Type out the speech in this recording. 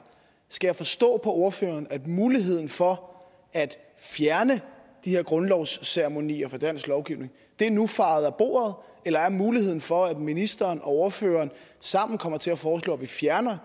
skal forstå på ordføreren at muligheden for at fjerne de her grundlovsceremonier fra dansk lovgivning nu er fejet af bordet eller er muligheden for at ministeren og ordføreren sammen kommer til at foreslå at vi fjerner